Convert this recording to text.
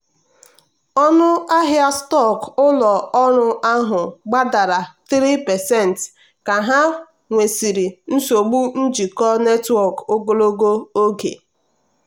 ọnụ ahịa stọkụ ụlọ ọrụ ahụ gbadara 3% ka ha nwesịrị nsogbu njikọ netwọk ogologo oge.